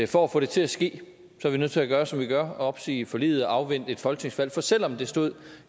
for at få det til at ske er vi nødt til at gøre som vi gør og opsige forliget og afvente et folketingsvalg for selv om det stod